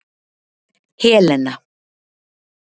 Helena